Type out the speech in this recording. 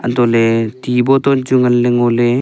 anto ley ti boton chu ngan ley ngo ley.